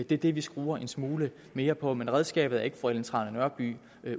det er det vi skruer en smule mere på men redskabet er ikke fru ellen trane nørby